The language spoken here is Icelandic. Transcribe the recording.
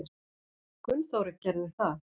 Gunnþórunn gerði það.